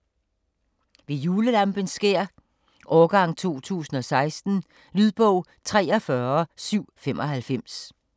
Ved julelampens skær: Årgang 2016 Lydbog 43795